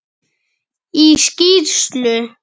Í skýrslu